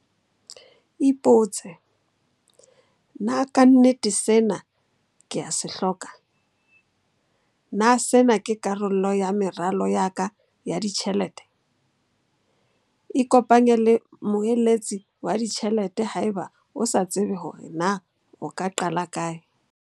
Ipotse. Na ka nnete sena ke a se hloka? Na sena ke karolo ya meralo ya ka ya ditjhelete? Ikopanye le moeletsi wa ditjhelete haeba o sa tsebe hore na o ka qala kae.